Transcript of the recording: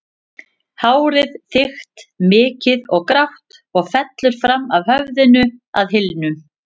Hárið þykkt, mikið og grátt og fellur fram af höfðinu að hylnum.